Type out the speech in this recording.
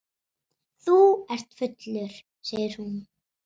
Þú ert fullur, segir hún.